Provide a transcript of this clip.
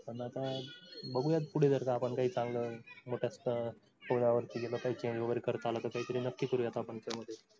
पण आता बघुयात पुढे जर आपण काही चांगलं करता आलं तर कायतरी नक्की करूयात आपण याच्यामध्ये.